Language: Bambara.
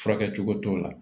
Furakɛcogo t'o la